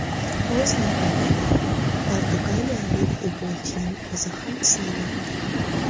O‘z navbatida portugaliyalik futbolchining o‘zi ham siylandi.